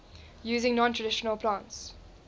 using non traditional plants